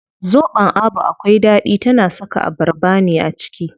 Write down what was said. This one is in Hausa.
Zobon Abu akwai ɗaɗi, tana saka abarba ne a ciki.